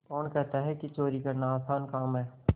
कौन कहता है कि चोरी करना आसान काम है